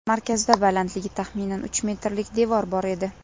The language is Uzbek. Markazda balandligi taxminan uch metrlik devor bor edi.